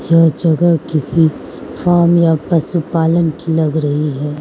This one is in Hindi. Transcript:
यह जगह किसी फार्म या पशुपालन की लग रही है।